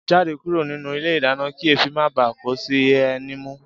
Jáde kúrò nínú ilé ìdáná kí èéfí má bàá kó sí ẹ ní imú!